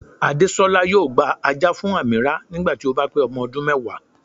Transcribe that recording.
Àdésolá yóò gba ajá fún Ameerah nígbà tí ó bá pé ọmọ ọdún mẹ́wàá